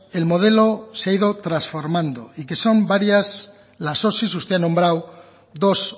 el modelo se ha ido transformando y que son varias las osi que usted ha nombrado dos